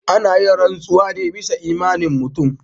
Ana yin rantsuwa ne bisa imanin mutum.